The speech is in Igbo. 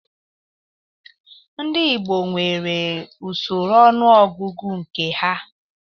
Ndị Igbo nwere usoro ọnụọgụgụ nke ha